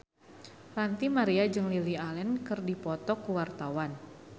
Ranty Maria jeung Lily Allen keur dipoto ku wartawan